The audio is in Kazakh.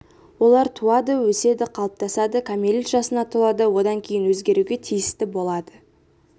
олар туады өседі қалыптасады кәмелет жасына толады одан кейін өзгеруге тиісті болады